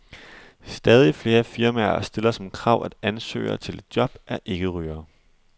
Stadig flere firmaer stiller som krav, at ansøgere til et job er ikke-rygere.